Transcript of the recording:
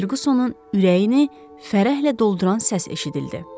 Ferqusonun ürəyini fərəhlə dolduran səs eşidildi.